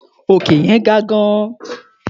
Òkè yẹn ga gan-an.